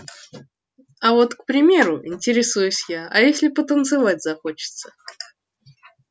а вот к примеру интересуюсь я а если потанцевать захочется